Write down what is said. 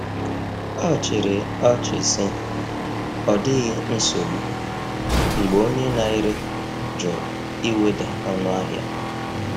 Ọ chịrị ọchị sị, “Ọ dịghị nsogbu,” mgbe onye na-ere jụrụ iweda ọnụahịa.